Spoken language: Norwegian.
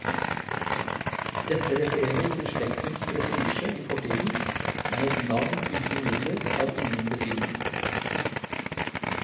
Dette refererer til slektens prestisje i fortiden, men et navn uten midler har ingen betydning.